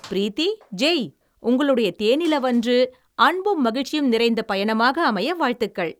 ப்ரீத்தி - ஜெய், உங்களுடைய தேனிலவன்று அன்பும் மகிழ்ச்சியும் நிறைந்த பயணமாக அமைய வாழ்த்துகள்.